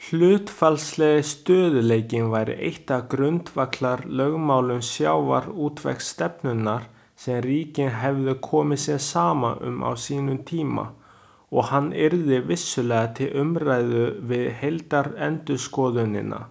Hlutfallslegi stöðugleikinn væri eitt af grundvallarlögmálum sjávarútvegsstefnunnar sem ríkin hefðu komið sér saman um á sínum tíma og hann yrði vissulega til umræðu við heildarendurskoðunina.